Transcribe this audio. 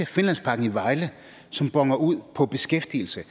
finlandsparken i vejle som boner ud på beskæftigelse